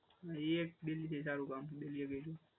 હા એક દિલ્હી એ સારું કામ કર્યું